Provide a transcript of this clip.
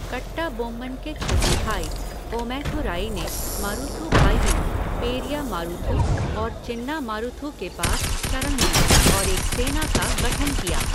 कट्टाबोम्मन के छोटे भाई, ओमैथुराई ने मारुथु भाइयों, पेरिया मारुथु और चिन्ना मारुथु के पास शरण ली और एक सेना का गठन किया।